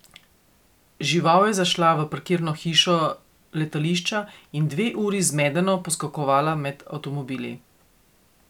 Žival je zašla v parkirno hišo letališča in dve uri zmedeno poskakovala med avtomobili.